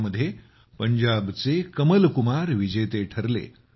यामध्ये पंजाबच्या कमल कुमार विजेते ठरले